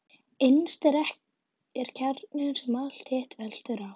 Innst er kjarninn sem allt hitt veltur á.